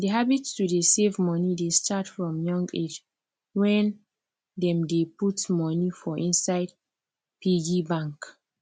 the habit to dey save money dey start from young age when dem dey put money for inside piggy bank